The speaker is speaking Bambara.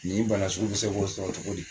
Nin bana sugu, i bɛ se bɔ sɔrɔ cogo di ?